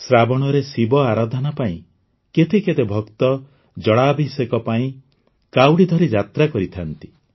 ଶ୍ରାବଣରେ ଶିବ ଆରାଧନା ପାଇଁ କେତେ କେତେ ଭକ୍ତ ଜଳାଭିଷେକ ପାଇଁ କାଉଡ଼ି ଧରି ଯାତ୍ରା କରିଥାନ୍ତି